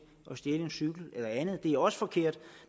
at stjæle en cykel eller andet det er også forkert